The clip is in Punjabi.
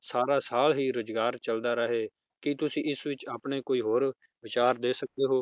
ਸਾਰਾ ਸਾਲ ਹੀ ਰੋਜ਼ਗਾਰ ਚਲਦਾ ਰਵੇ ਕੀ ਤੁਸੀਂ ਇਸ ਵਿਚ ਆਪਣੇ ਕੋਈ ਹੋਰ ਵਿਚਾਰ ਦੇ ਸਕਦੇ ਹੋ?